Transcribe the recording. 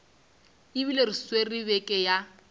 ebile re swere beke ya